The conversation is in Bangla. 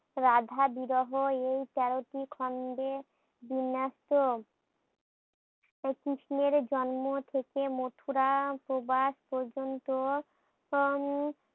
রাধা বিরহ এই তেরোটি খন্ডে বিন্যস্ত। এই কৃষ্ণের জন্ম থেকে মথুরা প্রবাস পর্যন্ত উম